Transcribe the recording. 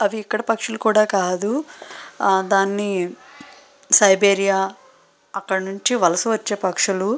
అవి ఇక్కడ పక్షులు కూడా కాదు. ఆ దాన్ని సైబీరియా అక్కడి నుండి వలస వచ్చే పక్షులు.